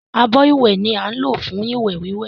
Abọ́ ìwẹ̀ ni á ń lò fún ìwẹ̀ wíwẹ̀